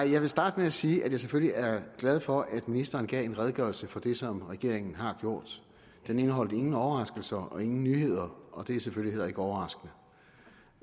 jeg vil starte med at sige at jeg selvfølgelig er glad for at ministeren gav en redegørelse for det som regeringen har gjort det indeholdt ingen overraskelser og ingen nyheder og det er selvfølgelig heller ikke overraskende